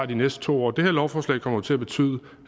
de næste to år det her lovforslag kommer til at betyde